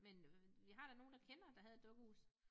Men vi har da nogen der kender der havde et dukkehus